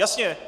Jasně!